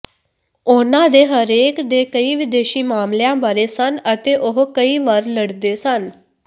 ਉਹਨਾਂ ਦੇ ਹਰੇਕ ਦੇ ਕਈ ਵਿਦੇਸ਼ੀ ਮਾਮਲਿਆਂ ਬਾਰੇ ਸਨ ਅਤੇ ਉਹ ਕਈ ਵਾਰ ਲੜਦੇ ਸਨ